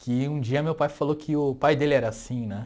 Que um dia meu pai falou que o pai dele era assim, né?